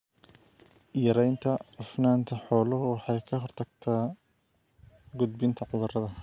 Yaraynta cufnaanta xooluhu waxay ka hortagtaa gudbinta cudurrada.